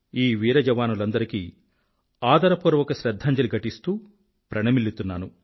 ఈ వీర జవానులందరికీ ఆదరపూర్వక శ్రధ్ధాంజలి ఘటిస్తూ ప్రణమిల్లుతున్నాను